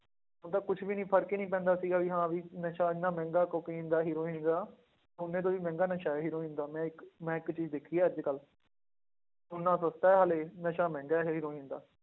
ਉਹਦਾ ਕੁਛ ਵੀ ਨੀ ਫ਼ਰਕ ਹੀ ਨੀ ਪੈਂਦਾ ਸੀਗਾ ਵੀ ਹਾਂ ਵੀ ਨਸ਼ਾ ਇੰਨਾ ਮਹਿੰਗਾ ਕੋਕੇਨ ਦਾ ਹੀਰੋਇਨ ਦਾ, ਸੋਨੇ ਤੋਂ ਵੀ ਮਹਿੰਗਾ ਨਸ਼ਾ ਹੀਰੋਇਨ ਦਾ ਮੈਂ ਇੱਕ ਮੈਂ ਇੱਕ ਚੀਜ਼ ਦੇਖੀ ਹੈ ਅੱਜ ਕੱਲ੍ਹ ਸੋਨਾ ਸਸਤਾ ਹੈ ਹਾਲੇ ਨਸ਼ਾ ਮਹਿੰਗਾ ਹੈ ਹੀਰੋਇਨ ਦਾ,